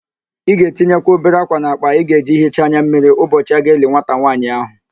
Ị ga-etinyeka obere ákwà n'akpa ị ga-eji hichaa anya mmiri ụbọchị a ga-eli nwata nwaanyị ahụ